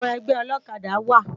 Awòn ègbè òlòkàdá wá